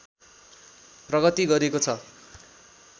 प्रगति गरेको छ